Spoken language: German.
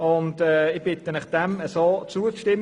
Ich bitte Sie, dem Vorstoss zuzustimmen.